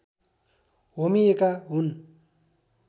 होमिएका हुन्